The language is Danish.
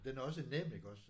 Den er også nem iggås